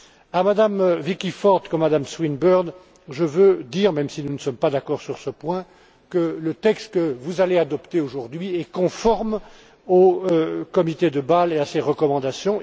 À Mme Vicky Ford comme à Mme Swinburne, je veux dire même si nous ne sommes pas d'accord sur ce point que le texte que vous allez adopter aujourd'hui est conforme au comité de Bâle et à ses recommandations.